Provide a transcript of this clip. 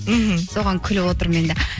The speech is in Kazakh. мхм соған күліп отырмын енді